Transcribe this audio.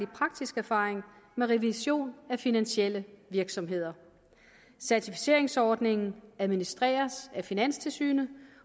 praktisk erfaring med revision af finansielle virksomheder certificeringsordningen administreres af finanstilsynet